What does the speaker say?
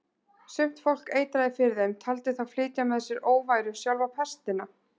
Sumt fólk eitraði fyrir þeim, taldi þá flytja með sér óværu, sjálfa pestina.